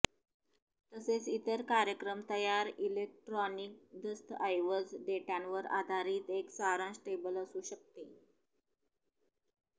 तसेच इतर कार्यक्रम तयार इलेक्ट्रॉनिक दस्तऐवज डेटावर आधारित एक सारांश टेबल असू शकते